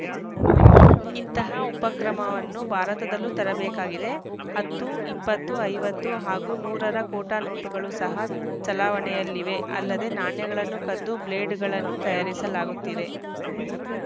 ಇಂತಹ ಉಪಕ್ರಮವನ್ನು ಭಾರತದಲ್ಲೂ ತರಬೇಕಾಗಿದೆ ಹತ್ತು ಇಪ್ಪತ್ತು ಐವತ್ತು ಹಾಗೂ ನೂರರ ಖೋಟಾ ನೋಟುಗಳು ಸಹ ಚಲಾವಣೆಯಲ್ಲಿವೆ ಅಲ್ಲದೆ ನಾಣ್ಯಗಳನ್ನು ಕದ್ದು ಬ್ಲೇಡುಗಳನ್ನು ತಯಾರಿಸಲಾಗುತ್ತಿದೆ